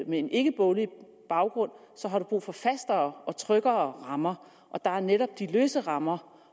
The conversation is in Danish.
med en ikkeboglig baggrund så har brug for nogle fastere og tryggere rammer og der er netop de løse rammer